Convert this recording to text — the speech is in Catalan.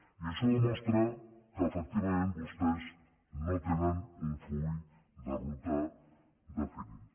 i això demostra que efectivament vostès no tenen un full de ruta definit